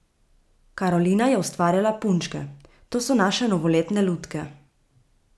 Karolina je ustvarjala punčke: "To so naše novoletne lutke.